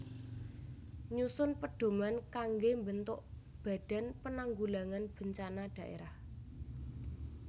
Nyusun pedhoman kanggé mbentuk Badan Penanggulangan Bencana Dhaérah